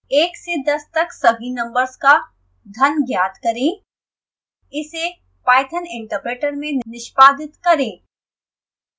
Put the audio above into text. एक से दस तक सभी नम्बर्स का घन ज्ञात करें इसे python interpreter में निष्पादित करें